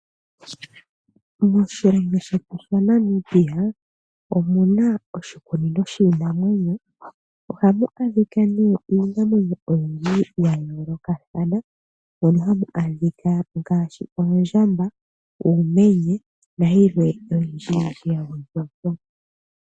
Moshilongo shetu shaNmibia omuna oshikunino shiinamwenyo, ohamu adhika nee iinamwenyo oyindji ya yoolokathana mono hamu adhika ngaashi, oondjamba, uumenye, nayilwe oyindjiyindji ya gwedhwapo.